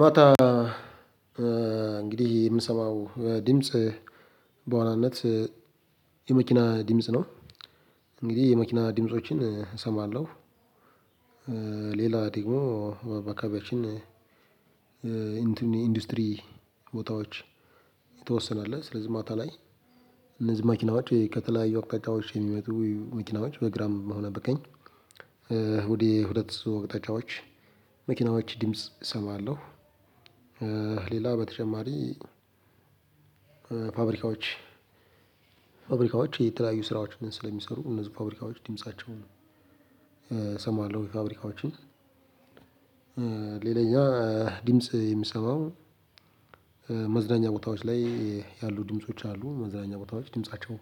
ማታ እንግዲህ የምሰማው ድምጽ በዋናነት የመኪና ድምጽ ነው። እንግዲህ የመኪና ድምፆችን እሰማለሁ። ሌላ ደግሞ በአካባቢያችን ኢንዱስትሪ ቦታዎች የተወሰነ አለ ስለዚህ ማታ ላይ እነዚህ መኪናዎች ከተለያዩ አቅጣጫዎች የሚመጡ መኪናዎች በግራም ሆነ በቀኝ ወደ ሁለት አቅታጫዎች መኪናዎች ድምጽ እሰማለሁ። ሌላ በተጨማሪ ፋብሪካዎች ፋብሪካዎች የተለያዩ ስራዎችንም ስለሚሰሩ እነዚህ ፋብሪካዎች ድምፃቸውን እሰማለሁ የፋብሪካዎችን ሌላኛው ድምጽ የምሰማው መዝናኛ ቦታዎች ላይ ያሉ ድምጾች አሉ። መዝናኛ ቦታዎች ድምፃቸው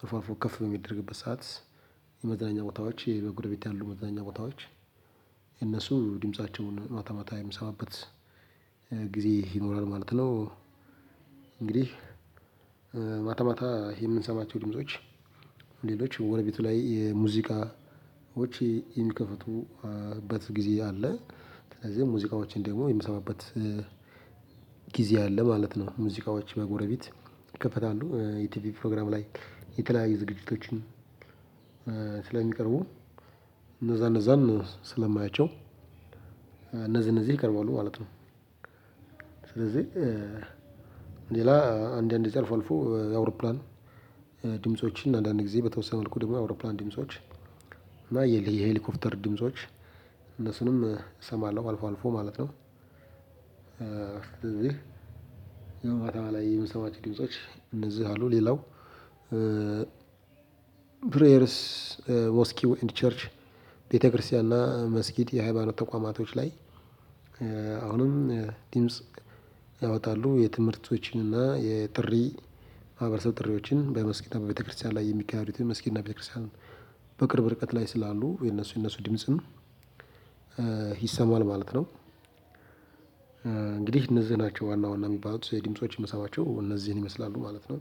አልፎ አልፎ ከፍ በሚደረግበት ሰዓት የመዝናኛ ቦታዎች በጎረቤት ያሉ መዝናኛ ቦታዎች የእነሱ ድምፃቸውን ማታ ማታ የምሰማበት ጊዜ ይኖራል ማለት ነው። እንግዲህ ማታ ይሄ የምንሰማቸው ድምጾች ሌሎች ጎረቤቱ ላይ የሙዚቃዎች የሚከፍቱበት ጊዜ አለ። ስለዚህ ሙዚቃዎችን ደግሞ የምሰማበት ጊዜ አለ ማለት ነው። ሙዚቃዎች በጎረቤት ይከፈታሉ የቲቪ ፕሮግራም ላይ የተለያዩ ዝግጅቶችን ስለሚቀርቡ እነዛ እነዛን ስለማያቸው እነዚህ እነዚህ ይቀርባሉ ማለት ነው። ስለዚህ ሌላ አንድ አንድ ጊዜ አልፎ አልፎ የአውሮፕላን ድምፆችን አንዳንድ ጊዜ በተወሰነ መልኩ ደግሞ የአውሮፕላን ድምጾች እና የሄሊ የሄሊኮፕተር ድምጾች እነሱንም እሰማለሁ አልፎ አልፎ ማለት ነው። ከተማ ላይ የምንሰማች ድምጾች እነዚህ አሉ ሌላው ፕሬየርስ ሞስኪው ኤንድ ቸርች ቤተክርስቲያን እና መስጊድ የሃይማኖት ተቋማቶች ላይ አሁንም ድምጽ ያወጣሉ የትምህርቶችን እና የጥሪ ማህበረሰብ ጥሪዎችን በመስጊድ እና በቤተክርስቲያን ላይ የሚካሄዱት የመስጊድ እና ቤተክርስቲያን በቅርብ ርቀት ላይ ስላሉ የነሱ የነሱ ድምጽም ይሰማል ማለት ነው። እንግዲህ እነዚህ ናቸው ዋና ዋና የሚባሉት የድምጾች የምሰማቸው እነዚህን ይመስላሉ ማለት ነው።